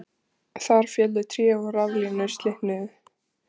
Þar féllu tré og raflínur slitnuðu